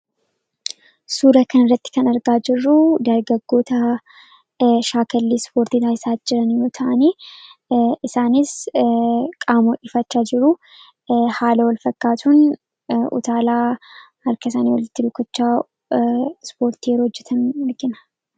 Suura kan irratti kan argaa jirruu daargaggoota shaakallii ispoortii taasisaa jiran yoo ta'ani, isaanis qaama ho'ifachaa jiruu haala walfakkaatuun utaalaa harkasaanii walittii rukku'achaa ispoortii yeroo hojjetan argina.